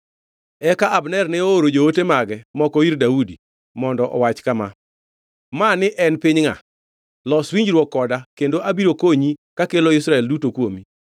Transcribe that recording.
Eka Abner ne ooro joote mage moko ir Daudi mondo owach kama: “Mani en piny ngʼa? Los winjruok koda kendo abiro konyi kakelo Israel duto kuomi.”